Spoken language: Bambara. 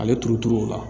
Ale turuturu o la